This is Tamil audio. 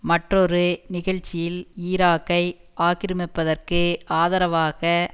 மற்றொரு நிகழ்ச்சியில் ஈராக்கை ஆக்கிரமிப்பதற்கு ஆதரவாக